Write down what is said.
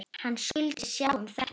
Hann skuli sjá um þetta.